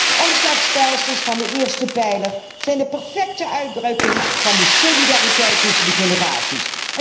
De omslagstelsels van de eerste pijler zijn de perfecte uitdrukking van de solidariteit tussen de generaties.